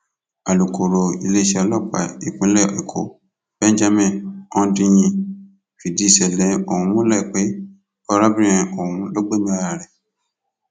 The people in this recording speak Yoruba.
alùkòòró iléeṣẹ ọlọpàá ìpínlẹ èkó benjamin hondnyin fìdí ìṣẹlẹ ọhún múlẹ pé arábìnrin ọhún ló gbẹmí ara rẹ